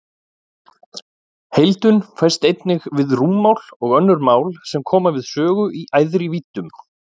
Heildun fæst einnig við rúmmál og önnur mál sem koma við sögu í æðri víddum.